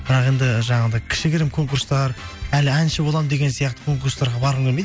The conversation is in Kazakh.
бірақ енді жаңағындай кішігірім конкурстар әлі әнші боламын деген сияқты конкурстарға барғым келмейді